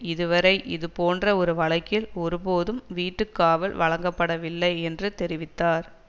இதுவரை இதுபோன்ற ஒர் வழக்கில் ஒருபோதும் வீட்டுக்காவல் வழங்கப்படவில்லை என்று தெரிவித்தார்